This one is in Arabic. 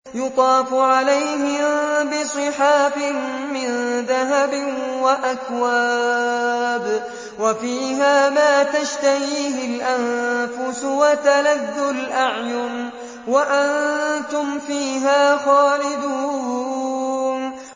يُطَافُ عَلَيْهِم بِصِحَافٍ مِّن ذَهَبٍ وَأَكْوَابٍ ۖ وَفِيهَا مَا تَشْتَهِيهِ الْأَنفُسُ وَتَلَذُّ الْأَعْيُنُ ۖ وَأَنتُمْ فِيهَا خَالِدُونَ